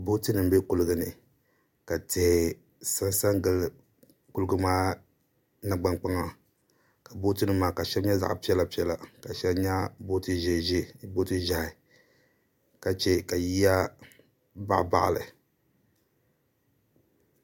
Booti nim n bɛ kuliga ni ka tihi sansa gili kuliga maa nangbani kpaŋa ka booti nim maa ka shɛli nyɛ zaɣ piɛla piɛla ka shɛli nyɛ booti ʒiɛ ʒiɛ ka chɛ ka yiya baɣabaɣali